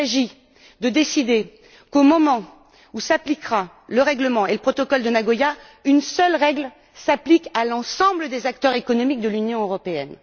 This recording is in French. Il s'agit de décider qu'au moment où s'appliqueront le règlement et le protocole de Nagoya, une seule règle prévaudra pour l'ensemble des acteurs économiques de l'Union européenne.